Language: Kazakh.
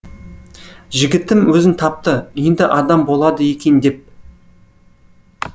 жігітім өзін тапты енді адам болады екен деп